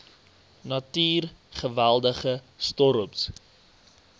natuur geweldige storms